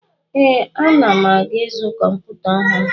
Ee, ana m aga izu kọmputa ọhụrụ.